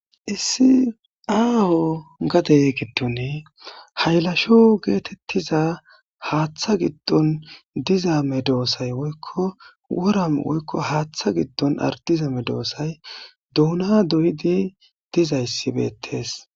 Issi aho gade gidoni haylasho getetiza haththa gidon diza medosay woyko wora woyko haththa gidon ardiza medosay doona doyidi dizayisi betes.